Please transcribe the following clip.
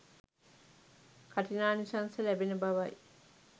කඨිනානිසංස ලැබෙන බවයි.